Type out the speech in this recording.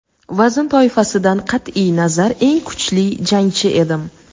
vazn toifasidan qat’iy nazar eng kuchli jangchi edim.